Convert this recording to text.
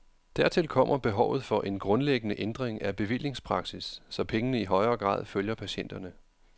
Dertil kommer behovet for en grundlæggende ændring af bevillingspraksis, så pengene i højere grad følger patienterne.